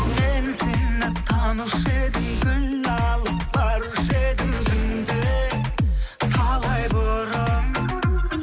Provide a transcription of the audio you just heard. мен сені танушы едім гүл алып барушы едім түнде талай бұрын